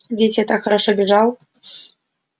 ведь я так хорошо бежал